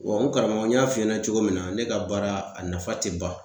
Wa n karamɔgɔ n y'a f'i ɲɛnɛ cogo min na ne ka baara a nafa te ban